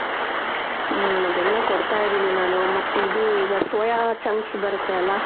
ಹ್ಮ್ ಅದೆಲ್ಲಾ ಕೊಡ್ತಾ ಇದೀನಿ ನಾನು ಮತ್ತಿದು ಈಗ soya chunks ಬರುತ್ತೆ ಅಲ